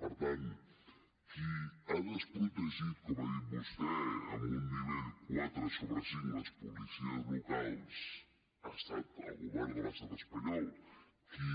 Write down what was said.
per tant qui ha desprotegit com ha dit vostè amb un nivell quatre sobre cinc les policies locals ha estat el govern de l’estat espanyol qui